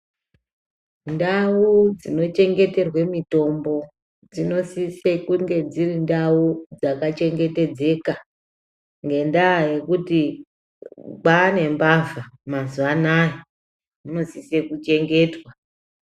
Ndau dzinochengeterwe mitombo dzinosise kunge dzirindau dzakachengetedzeka. Ngendaa yekuti kwaanembavha mazuva anaya, dzinosise kuchengetwa.